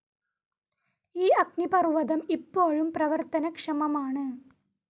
ഈ അഗ്നിപർവ്വതം ഇപ്പോഴും പ്രവർത്തനക്ഷമമാണ്.